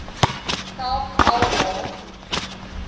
selfs al maak